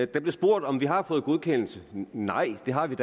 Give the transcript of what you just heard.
der blev spurgt om vi har fået godkendelse nej det har vi